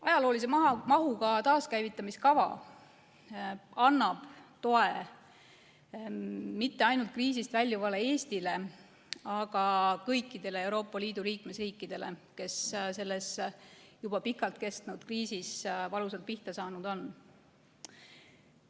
Ajaloolise mahuga taaskäivitamiskava annab toe mitte ainult kriisist väljuvale Eestile, vaid kõikidele Euroopa Liidu liikmesriikidele, kes selles juba pikalt kestnud kriisis valusalt pihta saanud on.